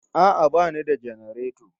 A'a bani da janareto